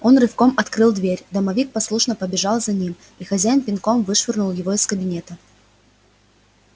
он рывком открыл дверь домовик послушно побежал за ним и хозяин пинком вышвырнул его из кабинета